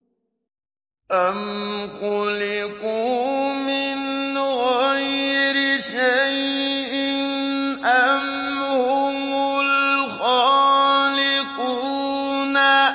أَمْ خُلِقُوا مِنْ غَيْرِ شَيْءٍ أَمْ هُمُ الْخَالِقُونَ